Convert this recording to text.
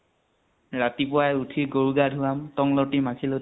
ৰাতিপুৱায়ে উঠি গৰুক গা ধোৱাম টং লতি মাখি লতি